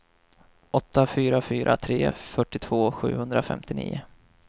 åtta fyra fyra tre fyrtiotvå sjuhundrafemtionio